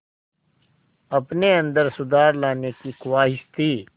अपने अंदर सुधार लाने की ख़्वाहिश थी